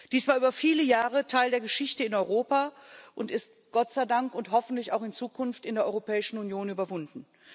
Dies war über viele Jahre Teil der Geschichte in Europa und ist Gott sei Dank und hoffentlich auch in Zukunft in der Europäischen Union überwunden.